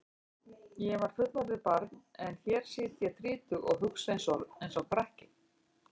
Ég var fullorðið barn en hér sit ég þrítug og hugsa einsog krakki.